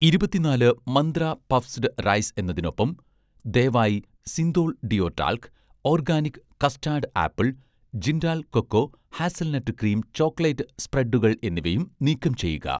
ഇരുപത്തിനാല് Mantra' puffed rice എന്നതിനൊപ്പം, ദയവായി Cinthol' deo talc, 'organic' custard apple, Jindal cocoa hazelnut cream chocolate സ്പ്രെഡുകൾ എന്നിവയും നീക്കം ചെയ്യുക